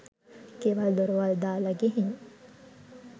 ගෙවල් දොරවල් දාලා ගිහින්